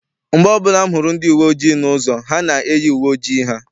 Mgbe ọbụla m hụrụ ndi uwe ojii n'ụzọ, ha na-eyi uwe ojii ha.